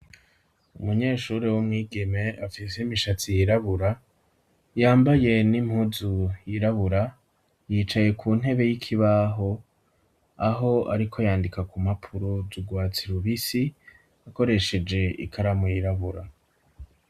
Umunyeshure w'umwigeme afise imishatsi yirabura, yambaye n'impuzu yirabura, yicaye ku ntebe y'ikibaho aho ariko yandika ku mpapuro z'urwatsi rubisi akoresheje ikaramu yirabura.